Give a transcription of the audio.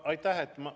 Aitäh!